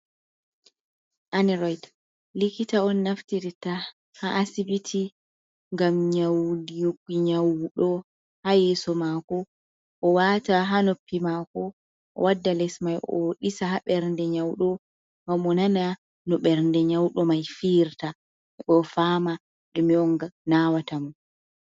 Aneroid likita on naftirta ha asibiti ngam nyaundigo nyauɗo ha yeso mako, o wata ha noppi mako, o wadda les mai o ɗisa ha ɓernde nyauɗo mai onana no bernde nyauɗo mai fiyirta o fama ɗume on nawata mo.